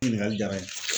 Ɲininkali diyara n ye